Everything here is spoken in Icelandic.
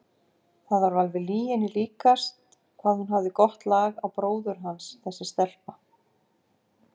Það var alveg lyginni líkast hvað hún hafði gott lag á bróður hans þessi stelpa!